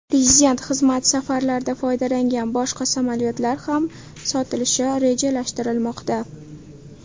Prezident xizmat safarlarida foydalangan boshqa samolyotlar ham sotilishi rejalashtirilmoqda.